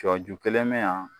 Sɔju kelen bɛ yan